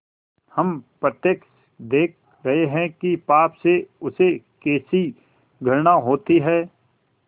हम प्रत्यक्ष देख रहे हैं कि पाप से उसे कैसी घृणा होती है